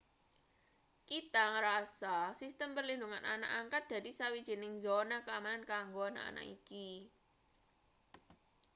kita ngrasa sistem perlindungan anak angkat dadi sawijining zona keamanan kanggo anak anak iki